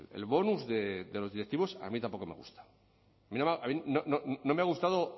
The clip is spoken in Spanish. el bonus de los directivos a mí tampoco me gusta a mí no me ha gustado